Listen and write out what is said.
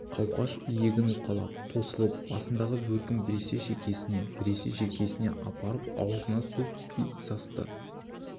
қауқаш иегін уқалап тосылып басындағы бөркін біресе шекесіне біресе желкесіне апарып аузына сөз түспей састы